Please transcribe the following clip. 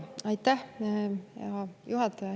Aitäh!